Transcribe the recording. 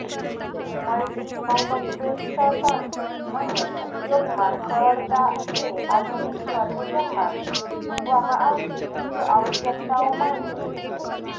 મલ્ટીફંક્ક્વૅક્શન્સ અને ઉપયોગમાં સરળતા એ આધુનિક ફર્નિચરમાં મૂકવામાં આવતી મુખ્ય આવશ્યકતાઓમાંની એક છે